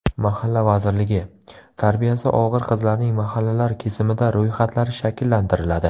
Mahalla vazirligi: Tarbiyasi og‘ir qizlarning mahallalar kesimida ro‘yxatlari shakllantiriladi.